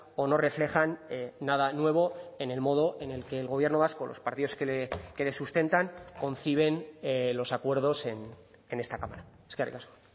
o no reflejan nada nuevo en el modo en el que el gobierno vasco o los partidos que le sustentan conciben los acuerdos en esta cámara eskerrik asko